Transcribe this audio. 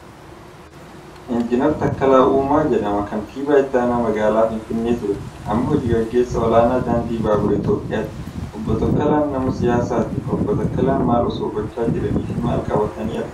Injiinar Takkalaa Uumaa jedhama. Kantiibaa itti aanaa magaalaa Finfinnee ture. Amma hojii gaggeessaa olaanaa daandii baaburaa Itoophiyaati. Obbo Takkalaan nama siyaasaati. Obbo Takkalaan maal osoo gochaa jiranii fi maal qabatanii argamu?